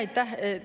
Aitäh!